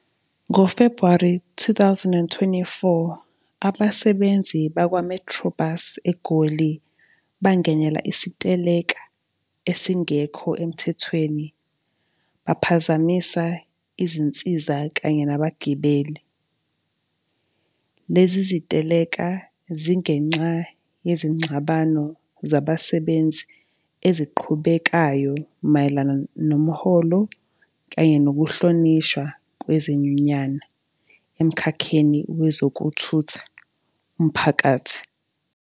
Ngo-February two thousand and twenty-four, abasebenzi bakwa-Metrobus, eGoli, bangenela isiteleka, esingekho emthethweni, baphazamisa izinsiza kanye nabagibeli. Lezi ziteleka zingenxa yezingxabano zabasebenzi eziqhubekayo mayelana nomholo kanye nokuhlonishwa kwezinyunyana emkhakheni wezokuthutha umphakathi.